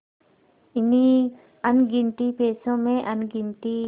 इन्हीं अनगिनती पैसों में अनगिनती